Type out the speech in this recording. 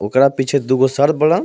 ओकरा पीछे दुगो सर बाड़.